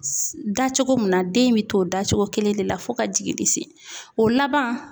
Da cogo mun na ,den bɛ to da cogo kelen de la fo ka jiginni se o laban